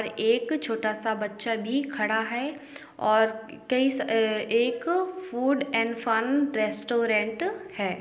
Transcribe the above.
और एक छोटा सा बच्चा भी खड़ा है और कई अ-एक फ़ूड एंड फन रेटोरेन्ट है।